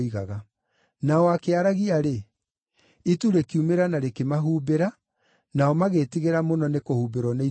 Na o akĩaragia-rĩ, itu rĩkiumĩra na rĩkĩmahumbĩra, nao magĩĩtigĩra mũno nĩ kũhumbĩrwo nĩ itu rĩu.